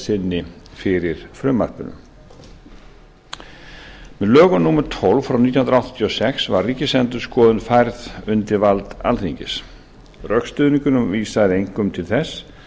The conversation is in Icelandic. sinni fyrir frumvarpinu með lögum númer tólf nítján hundruð áttatíu og sex var ríkisendurskoðun færð undir vald alþingis rökstuðningurinn vísaði einkum til þess